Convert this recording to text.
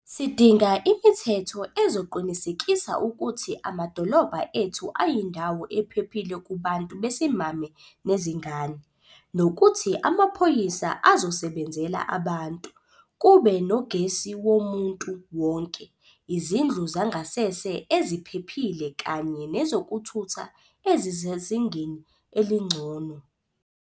Sidinga imithetho ezoqinisekisa ukuthi amadolobha ethu ayindawo ephephile kubantu besimame nezingane, nokuthi amaphoyisa azosebenzela abantu, kube nogesi womuntu wonke, izindlu zangasese eziphephile kanye nezokuthutha ezisezingeni elingcono.